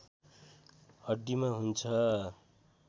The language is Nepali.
हड्डीमा हुन्छ